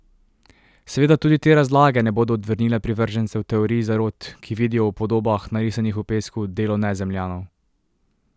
Seveda tudi te razlage ne bodo odvrnile privržencev teorij zarot, ki vidijo v podobah, narisanih v pesku, delo nezemljanov.